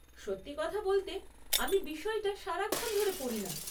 সত্যি কথা বলতে, আমি বিষয়টা সারাক্ষণ ধরে পড়ি না।